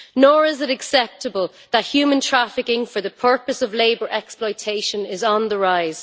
Nor is it acceptable that human trafficking for the purpose of labour exploitation is on the rise.